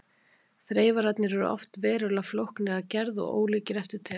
Þreifararnir eru oft verulega flóknir að gerð og ólíkir eftir tegundum.